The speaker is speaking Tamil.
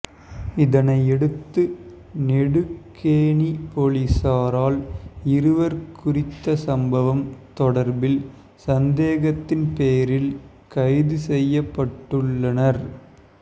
இதனையடுத்து நெடுக்கேணி பொலிசாரால் இருவர் குறித்த சம்பவம் தொடர்பில் சந்தேகத்தின் பேரில் கைது செயள்யப்பட்டுள்ளனர்